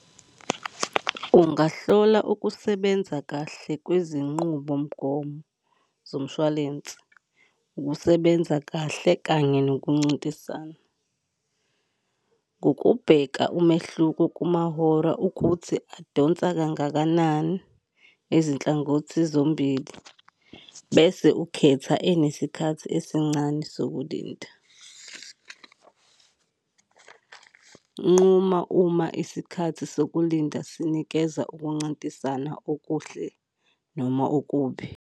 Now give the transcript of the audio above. Ungahlola ukusebenza kahle kwezinqubomgomo zomshwalense, ukusebenza kahle kanye nokuncintisana ngokubheka umehluko kumahora ukuthi adonsa kangakanani izinhlangothi zombili, bese ukhetha enesikhathi esincane sokulinda. Nquma uma isikhathi sokulinda sinikeza ukuncintisana okuhle noma okubi.